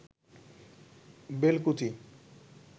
Belkuchi